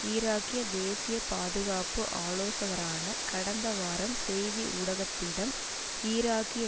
ஈராக்கிய தேசிய பாதுகாப்பு ஆலோசகரான கடந்த வாரம் செய்தி ஊடகத்திடம் ஈராக்கிய